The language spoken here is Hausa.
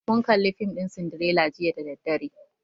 Mun kalli fim ɗin sindirela jiya da daddare